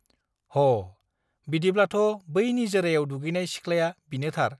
होः बिदिब्लाथ बै निजोरायाव दुगैनाय सिख्लाया बिनोथार